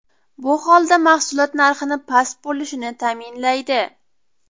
Bu holda mahsulot narxini past bo‘lishini ta’minlaydi.